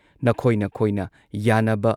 ꯅꯈꯣꯏ ꯅꯈꯣꯏꯅ ꯌꯥꯅꯕ